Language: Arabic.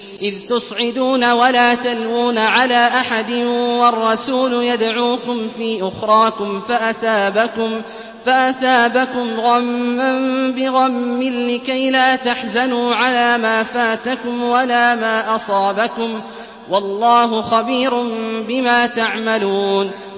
۞ إِذْ تُصْعِدُونَ وَلَا تَلْوُونَ عَلَىٰ أَحَدٍ وَالرَّسُولُ يَدْعُوكُمْ فِي أُخْرَاكُمْ فَأَثَابَكُمْ غَمًّا بِغَمٍّ لِّكَيْلَا تَحْزَنُوا عَلَىٰ مَا فَاتَكُمْ وَلَا مَا أَصَابَكُمْ ۗ وَاللَّهُ خَبِيرٌ بِمَا تَعْمَلُونَ